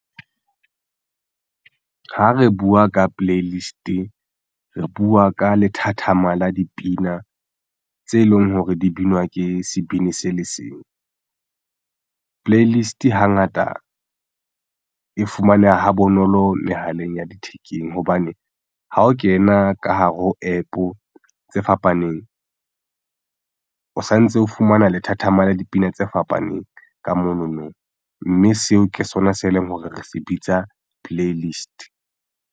Ha re buwa ka playlist re buwa ka lethathama la dipina tse leng hore di binwa ke sebini se le seng. Playlist hangata e fumaneha ha bonolo mehaleng ya thekeng hobane ha o kena ka hare ho APP tse fapaneng o santse o fumana lethathama la dipina tse fapaneng ka monono, mme seo ke sona se leng hore re se bitsa playlist.